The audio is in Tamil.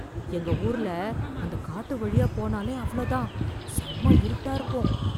எங்க ஊர்ல அந்த காட்டு வழியா போனாலே அவ்ளோ தான், செம்ம இருட்டா இருக்கும்.